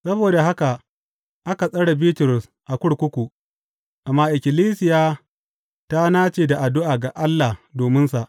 Saboda haka aka tsare Bitrus a kurkuku, amma ikkilisiya ta nace da addu’a ga Allah dominsa.